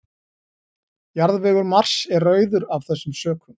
Jarðvegur Mars er rauður af þessum sökum.